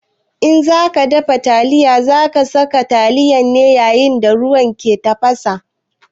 In za ka dafa taliya, za ka sa taliyar ne yayin da ruwa ke tafasa.